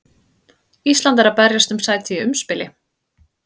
Ísland er að berjast um sæti í umspili.